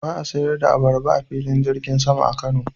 Ba a sayar da abarba a Filin Jirgin sama na Kano.